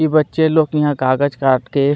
बच्चे लोग यहाँ कागज काट के --